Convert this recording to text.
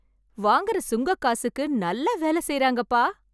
வாங்குற சுங்கக்காசுக்கு நல்லா வேலை செய்றாங்கப் பா!